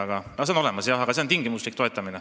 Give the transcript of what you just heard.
See seisukoht on olemas, jah, see on tingimuslik toetamine.